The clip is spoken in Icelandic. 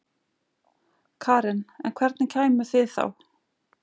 Karen: En hvernig kæmuð þið þá?